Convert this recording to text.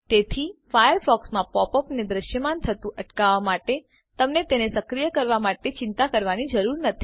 તેથી ફાયરફોક્સમાં પોપ અપને દ્રશ્યમાન થતું અટકાવવા માટે તમને તેને સક્રીય કરવા માટે ચિંતા કરવાની જરૂર નથી